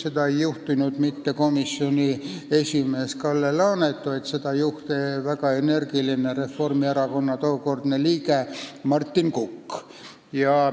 Seda ei juhtinud mitte komisjoni esimees Kalle Laanet, vaid seda juhtis väga energiline tookordne Reformierakonna liige Martin Kukk.